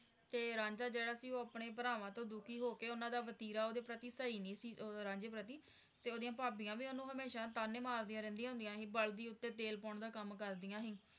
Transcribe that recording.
ਤੇ ਰਾਂਝਾ ਜਿਹੜਾ ਸੀ ਉਹ ਆਪਣੇ ਭਰਾਵਾਂ ਤੋਂ ਦੁਖੀ ਹੋ ਕੇ ਓਹਨਾ ਦਾ ਵਤੀਰਾ ਓਹਨਾ ਦੇ ਪ੍ਰਤੀ ਸਹੀ ਨਹੀਂ ਸੀ ਉਹ ਰਾਂਝੇ ਪ੍ਰਤੀ ਤੇ ਓਹਦੀ ਭਾਬੀਆਂ ਵੀ ਓਹਨੂੰ ਹਮੇਸ਼ਾ ਤਾਅਨੇ ਮਾਰਦੀਆਂ ਰਹਿੰਦੀਆਂ ਸੀ ਬਲਦੀਉੱਤੇ ਤੇਲ ਪਾਉਣ ਦਾ ਕਮ ਕਰਦਿਆਂ ਸੀ